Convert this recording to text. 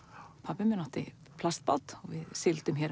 pabbi átti plastbát og við sigldum hér